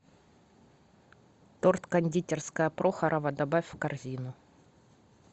торт кондитерская прохорова добавь в корзину